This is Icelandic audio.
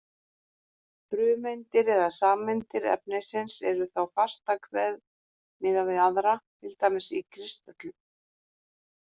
Frumeindir eða sameindir efnisins eru þá fastar hver miðað við aðra, til dæmis í kristöllum.